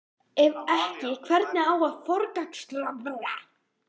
Ef ekki, hvernig á að forgangsraða?